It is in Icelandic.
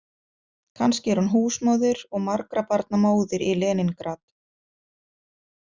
Kannski er hún húsmóðir og margra barna móðir í Leníngrad.